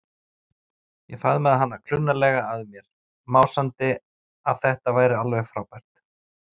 Ég faðmaði hana klunnalega að mér, másandi að þetta væri alveg frábært.